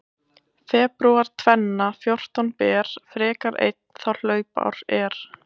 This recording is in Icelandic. Febrúar tvenna fjórtán ber frekar einn þá hlaupár er.